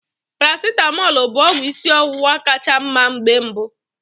Paracetamọl bụ ọgwụ ịsị ọwụwa ka cha mma mgbe mbụ.